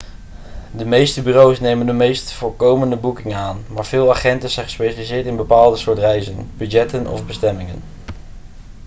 de meeste bureaus nemen de meest voorkomende boekingen aan maar veel agenten zijn gespecialiseerd in bepaalde soorten reizen budgetten of bestemmingen